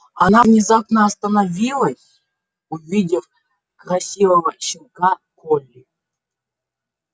она внезапно остановилась увидев красивого щенка колли